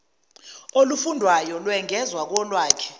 olufundwayo lwengezwa kolwakhe